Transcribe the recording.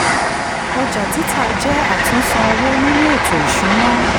ọjọ́ títà jẹ́ àtunsan owó nínú ètò ìṣúná.